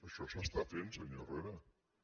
això s’està fent senyor herrera